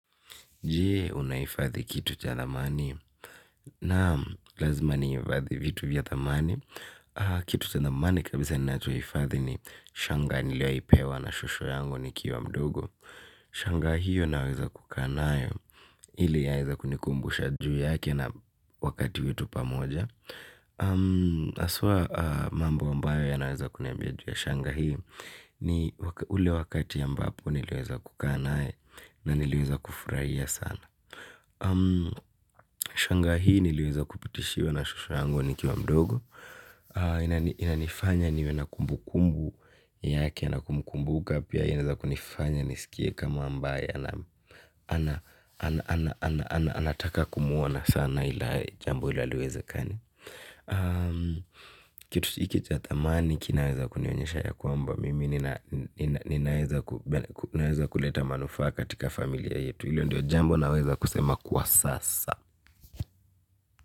Je unahifadhi kitu cha thamani naam lazima nihifadhi vitu vya thamani. Kitu cha thamani kabisa ninachohifadhi ni shanga niliwahi pewa na shosho yangu nikiwa mdogo. Shanga hiyo naweza kukaa nayo ili yaeza kunikumbusha juu yake na wakati wetu pamoja. Haswa mambo ambayo yanaweza kuniambia juu ya shanga hii. Ni ule wakati ambapo niliweza kukaa naye na niliweza kufurahia sana. Shanga hii niliweza kupitishiwa na shosho yangu nikiwa mdogo. Inanifanya niwe na kumbukumbu yake na kumkumbuka pia. Inaweza kunifanya nisikie kama ambaye anataka kumwona sana ila jambo hilo haliwezekani. Kitu hiki cha thamani kinaweza kunionyesha ya kwamba mimi ninaweza kuleta manufaa katika familia yetu. Hilo ndio jambo naweza kusema kwa sasa.